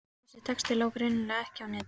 Þessi texti lá greinilega ekki á netinu.